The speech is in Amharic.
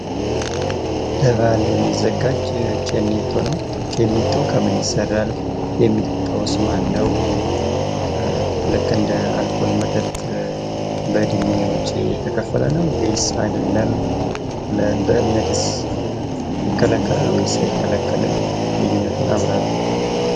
በባህል የሚዘጋጅ ኬኔቶ ነው። ኬኔቶ ከምን ይሰራል ? የሚጠጣውስ ማነው? ልክ እንደ አልኮል መጠጥ በእድሜዎች የተከፈለ ነው ወይስ አይደለም? በእምነትስ ይከለከላል ወይስ አይከለከልም? ልዩነቱን አብራሩ።